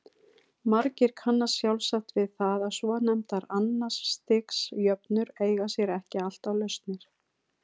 Margir kannast sjálfsagt við það að svonefndar annars stigs jöfnur eiga sér ekki alltaf lausnir.